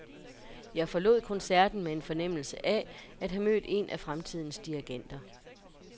Jeg forlod koncerten med en fornemmelse af at have mødt en af fremtidens dirigenter.